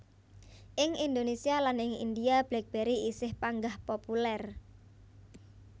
Ing Indonésia lan ing India BlackBerry isih panggah populèr